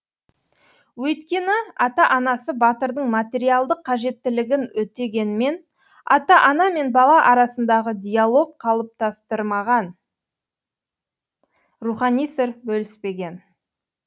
өйткені ата анасы батырдың материалдық қажеттілігін өтегенмен ата ана мен бала арасындағы диалог қалыптастырмаған рухани сыр бөліспеген